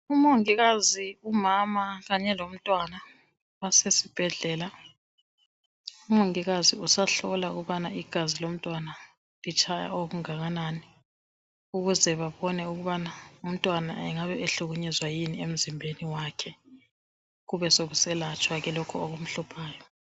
Umongikazi, umama, kanye lomntwana basesibhedlela, umongikazi usahlola ukubana igazi lomntwana litshaya okungakanani ukuze babone ukubana umntwana engabe ehlukunyezwa yini emzimbeni wakhe, kube sekuselatshwa ke lokho okumhluphayo.